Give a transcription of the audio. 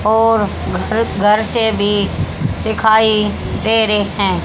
और घ घर से भी दिखाई दे रहे है।